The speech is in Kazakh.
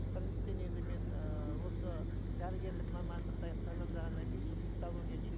біріншіден енді мен ыыы осы дәрігерлік мамандықты аяқ тамамдағаннан кейін сол гистология дейді